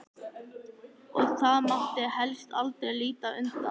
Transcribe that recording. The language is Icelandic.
Og það mátti helst aldrei líta undan.